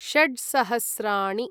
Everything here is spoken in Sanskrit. षड् सहस्राणि